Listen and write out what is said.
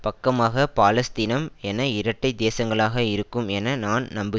பக்கமாக பாலஸ்தீனம் என இரட்டை தேசங்களாக இருக்கும் என நான் நம்பு